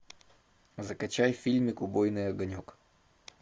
закачай фильмик убойный огонек